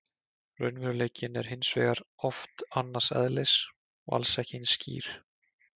Raunveruleikinn er hins vegar oft annars eðlis og alls ekki eins skýr.